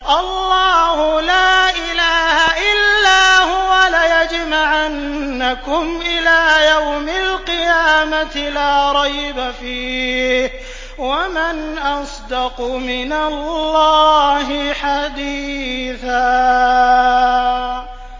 اللَّهُ لَا إِلَٰهَ إِلَّا هُوَ ۚ لَيَجْمَعَنَّكُمْ إِلَىٰ يَوْمِ الْقِيَامَةِ لَا رَيْبَ فِيهِ ۗ وَمَنْ أَصْدَقُ مِنَ اللَّهِ حَدِيثًا